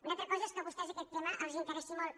una altra cosa és que a vostès aquest tema els interessi molt